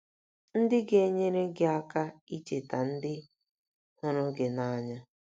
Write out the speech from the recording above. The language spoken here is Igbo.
ndị ga - enyere gị aka icheta ndị hụrụ gị n’anya